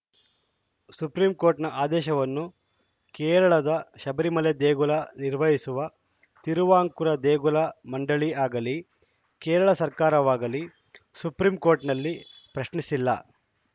ಸುಪ್ರೀಂಕೋರ್ಟ್‌ನ ಆದೇಶವನ್ನು ಕೇರಳದ ಶಬರಿಮಲೆ ದೇಗುಲ ನಿರ್ವಹಿಸುವ ತಿರುವಾಂಕೂರು ದೇಗುಲ ಮಂಡಳಿ ಆಗಲೀ ಕೇರಳ ಸರ್ಕಾರವಾಗಲೀ ಸುಪ್ರೀಂಕೋರ್ಟ್‌ನಲ್ಲಿ ಪ್ರಶ್ನಿಸಿಲ್ಲ